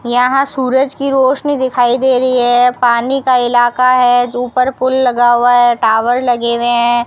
यहां सूरज की रोशनी दिखाई दे रही है पानी का इलाका है जो ऊपर पुल लगा हुआ है टावर लगे हुए हैं।